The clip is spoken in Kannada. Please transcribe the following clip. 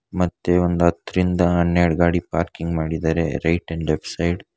ಮತ್ತೆ ಒಂದ್ ಹತ್ತ್ರಯಿಂದ ಹನ್ನೆರಡು ಗಾಡಿ ಪಾರ್ಕಿಂಗ್ ಮಾಡಿದ್ದಾರೆ ರೈಟ್ ಅಂಡ್ ಲೆಫ್ಟ್ ಸೈಡ್.